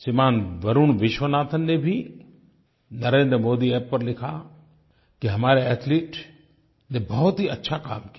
श्रीमान वरुण विश्वनाथन ने भी NarendraModiApp पर लिखा कि हमारे एथलीट्स ने बहुत ही अच्छा काम किया